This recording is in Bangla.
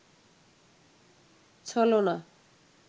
ছলনা